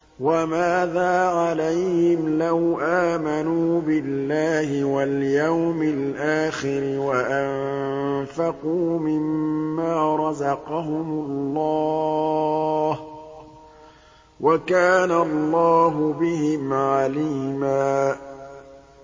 وَمَاذَا عَلَيْهِمْ لَوْ آمَنُوا بِاللَّهِ وَالْيَوْمِ الْآخِرِ وَأَنفَقُوا مِمَّا رَزَقَهُمُ اللَّهُ ۚ وَكَانَ اللَّهُ بِهِمْ عَلِيمًا